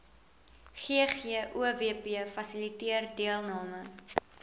ggowp fasiliteer deelname